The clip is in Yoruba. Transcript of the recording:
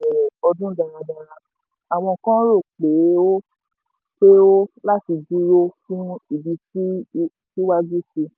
bí crypto ti bẹ̀rẹ̀ ọdún dáradára àwọn kan rò pé ó pé ó láti dúró fún ìbísí síwájú sí.